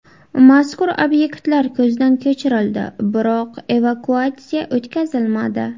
Mazkur obyektlar ko‘zdan kechirildi, biroq evakuatsiya o‘tkazilmadi.